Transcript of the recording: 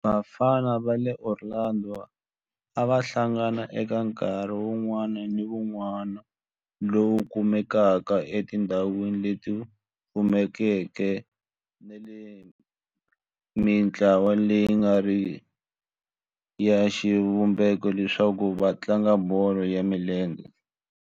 Vafana va le Orlando a va hlangana eka nkarhi wun'wana ni wun'wana lowu kumekaka etindhawini leti pfulekeke ni le ka mintlawa leyi nga riki ya xivumbeko leswaku va tlanga bolo ya milenge.